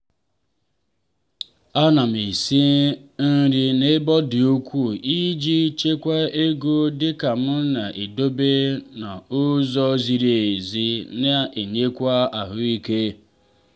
a na m esi nri n'ebe ọ di ukwuu iji chekwaa ego dika m na-edobe nri n'ụzọ ziri ezi na enyekwa ahụike.